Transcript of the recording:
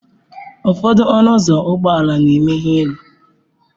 Ụfọdụ ọnụ ụzọ ụgbọ ala na-emeghe elu.